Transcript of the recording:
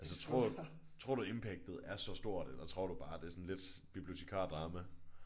Altså tror du tror du at impactet er så stort eller tror du bare det er sådan lidt bibliotekardrama?